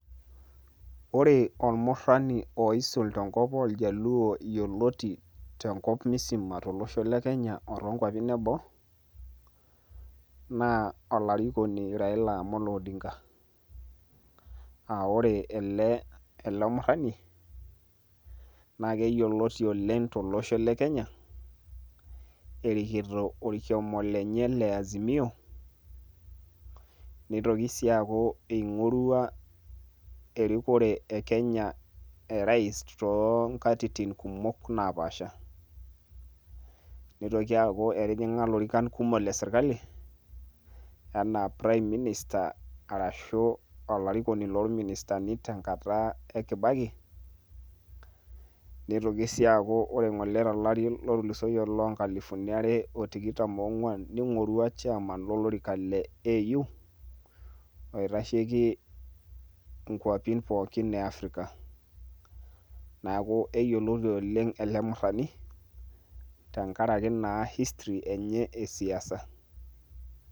Ore ormurrani oisul tenkop orjaluo yioloti tenkop musima, tolosho le Kenya o tonkwapin eboo, na olarikoni Raila Amolo Odinga. Ah ore ele murrani, naa keyioloti oleng tolosho le Kenya, erikito orkioma lenye le Azimio, nitoki si aaku ing'orua erikore e Kenya orais tonkatitin kumok napaasha. Nitoki aku etijing'a ilorikan kumok le sirkali, enaa prime minister arashu olarikoni lorministani tenkata e Kibaki. Nitoki si aaku ore ng'ole tolari otulusoyie lonkalifuni are otikitam ong'uan, ning'orua chairman lolorika le AU, oitasheki inkwapi pookin e Afrika. Neeku keyioloti oleng' ele murrani, tenkaraki naa history enye esiasa.